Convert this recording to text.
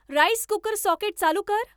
rice cooker socket चालू कर